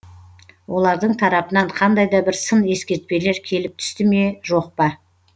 олардың тарапынан қандай да бір сын ескертпелер келіп түсті ме жоқ па